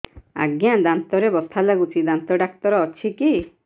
ଆଜ୍ଞା ଦାନ୍ତରେ ବଥା ଲାଗୁଚି ଦାନ୍ତ ଡାକ୍ତର ଅଛି କି